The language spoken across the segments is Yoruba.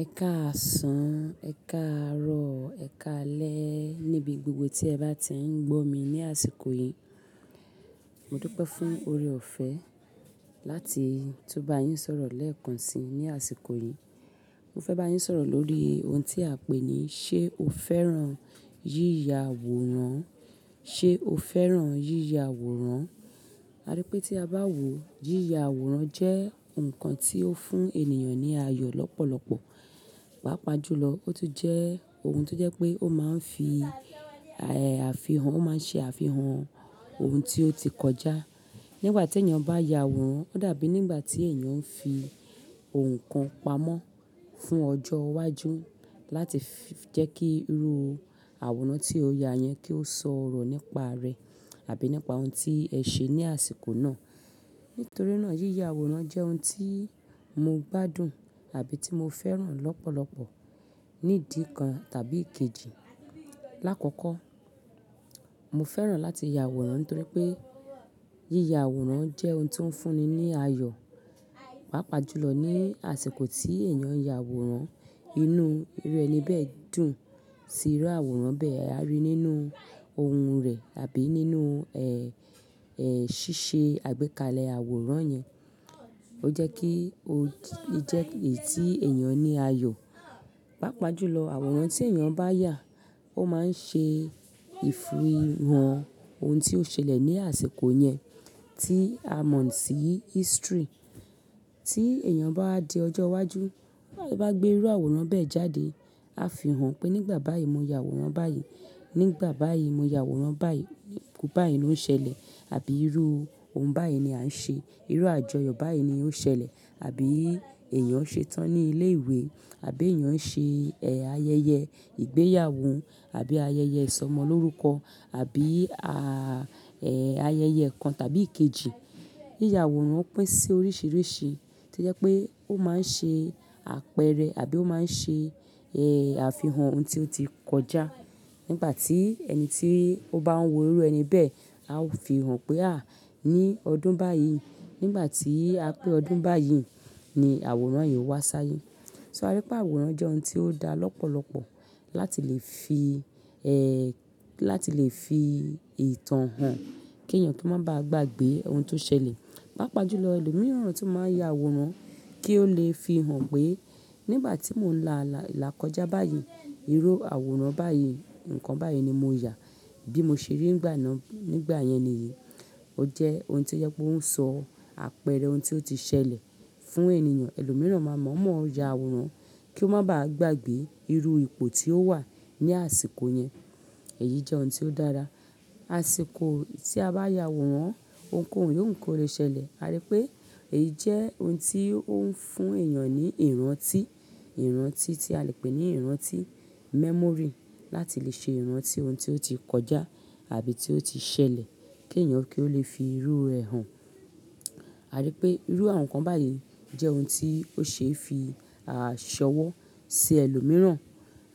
Ẹ káàsán, ẹ káàrọ̀, ẹ káalẹ́ níbi gbogbo tí ẹ bá ti ń gbó mi ní àsìkò yìí. Mo dúpẹ́ fún ore-ọ̀fẹ́ láti tú bá yín sọ̀rọ̀ lẹ́ẹ̀kan si ní àsìkò yìí. Mo fẹ́ bá yín sọ̀rọ̀ lórí ohun tí a pè ní ṣé o fẹ́ràn yíya àwòrán? Ṣé o fẹ́ràn yíya àwòrán? A rí pé tí a bá wò, yíya àwòrán jẹ́ nǹkan tí ó fún ènìyàn ní ayọ̀ lọ́pọ̀lọpọ̀. Pápa jùlọ, ó tún jẹ́ ohun tó jẹ́ pé ó máa ń fi, ẹ́ẹ́, àfihàn, ó máa ń ṣe àfihàn ohun tí ó ti kọjá. Nígbà tí ènìyàn bá ya àwòrán, ó dàbí nígbà tí ènìyàn ń fi ohun kan pamọ́ fún ọjọ́ iwájú láti jẹ́ kí irú àwòrán tí ó ya yẹn kí ó sọ̀rọ̀ nípa rẹ̀ àbí nípa ohun tí ẹ ṣe ní àsìkò náà. Nítorí náà yíya àwòrán jẹ́ ohun tí mo gbádùn àbí tí mo fẹ́ràn lọ́pọ̀lọpọ̀. Nídìkan tàbí ìkejì. Láàkọ́kọ́, mo fẹ́ràn láti ya àwòrán nítorí pé yíya àwòrán jẹ́ ohun tó ń fún ni ní ayọ̀. Pápa jùlọ ní àsìkò tí ènìyàn ń ya àwòrán, inú rẹ̀ ni bẹ́ẹ̀ dùn sí irú àwòrán bẹ́ẹ̀ a rí nínú ohun rẹ̀ àbí nínú, ẹ́ẹ́, ṣíṣe àgbékalẹ̀ àwòrán yẹn. Ó jẹ́ kí ó jẹ́ èyí tí ènìyàn ní ayọ̀. Pápa jùlọ àwòrán tí ènìyàn bá yà ó máa ń ṣe ìfihàn ohun tí ó ṣẹlẹ̀ ní àsìkò yẹn tí a mọ̀ sí history. Tí ènìyàn bá di ọjọ́ iwájú, bá gbé irú àwòrán bẹ́ẹ̀ jáde, a fi hàn pé nígbà báyìí mo ya àwòrán báyìí, nígbà báyìí mo ya àwòrán báyìí, pé báyìí ló ṣẹlẹ̀ àbí irú ohun báyìí ni a ń ṣe, irú àjọyọ̀ báyìí ni ó ṣẹlẹ̀ àbí ènìyàn ń ṣe tán ní ilé-ìwé àbí ènìyàn ń ṣe, ẹ́ẹ́, ayẹyẹ ìgbéyàwó àbí ayẹyẹ ìsọmọlórúkọ àbí, ayẹyẹ kan tàbí kejì. Yíya àwòrán pín sí oríṣìíríṣìí tí jẹ́ pé ó máa ń ṣe àpẹẹrẹ àbí ó máa ń ṣe, ẹ́ẹ́, àfihàn ohun tí ó ti kọjá. Nígbà tí ẹni tí ó bá ń wo irú ẹni bẹ́ẹ̀, a ó fi hàn pé à, ní ọdún báyìí, nígbà tí a pé ọdún báyìí ni àwòrán yìí wá sáyé. So a rí pé àwòrán jẹ́ ohun tí ó dára lọ́pọ̀lọpọ̀ láti lè fi, ẹ́ẹ́, láti lè fi ìtàn hàn kí ènìyàn tó máa bá a gbàgbé ohun tó ṣẹlẹ̀. Pápa jùlọ ẹlòmíràn tu máa ń ya àwòrán kí ó lè fi hàn pé nígbà tí mò ń là lákọjá báyìí, irú àwòrán báyìí, nǹkan báyìí ni mo yà bí mo ṣe rí nígbà náà, nígbà yẹn nìyí. Ó jẹ́ ohun tí ó jẹ́ pé ó ń sọ àpẹẹrẹ ohun tí ó ti ṣẹlẹ̀ fún ènìyàn. Ẹlòmíràn máa mọ̀ọ́mọ̀ ya àwòrán kí ó máa bá a gbàgbé irú ipò tí ó wà ní àsìkò yẹn. Èyí jẹ́ ohun tí ó dára. Àsìkò tí a bá ya àwòrán, ohunkóhun yóò ń kórẹ́ ṣẹlẹ̀. A rí pé èyí jẹ́ ohun tí ó ń fún ènìyàn ní ìrántí, ìrántí tí a lè pè ní ìrántí memory láti lè ṣe ìrántí ohun tí ó ti kọjá àbí tí ó ti ṣẹlẹ̀ kí ènìyàn kí ó lè fi irú rẹ̀ hàn. A rí pé irú àwọn nǹkan báyìí jẹ́ ohun tí ó ṣe é fi àṣọwọ́ sí ẹlòmíràn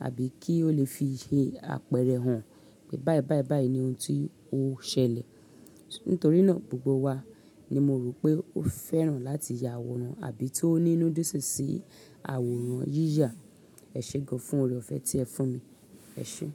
àbí kí ó lè fi ṣe àpẹẹrẹ hàn pé báyìí, báyìí, báyìí ni ohun tí ó ṣẹlẹ̀. Nítorí náà gbogbo wa ni mo rò pé ó fẹ́ràn láti ya àwòrán àbí tó ní inu didún sí àwòrán yíya. Ẹ ṣe gan-an fún ore-ọ̀fẹ́ tí ẹ fún mi. Ẹ ṣe.